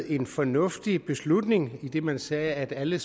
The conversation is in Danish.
en fornuftig beslutning idet man sagde at alle